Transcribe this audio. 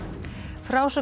frásögn